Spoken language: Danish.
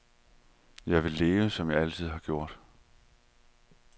Jeg vil leve, som jeg altid har gjort.